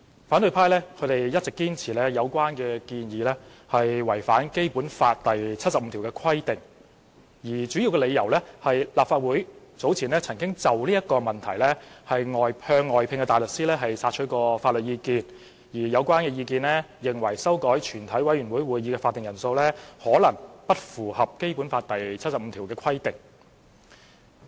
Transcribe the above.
反對派一直堅持有關建議違反《基本法》第七十五條的規定，主要的理由是立法會早前曾經就此問題向外聘大律師索取法律意見，而有關意見皆認為修改全委會會議法定人數，可能不符合《基本法》第七十五條的規定。